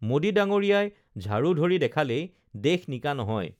মোডী ডাঙৰীয়াই ঝাঢ়ু ধৰি দেখালেই দেশ নিকা নহয়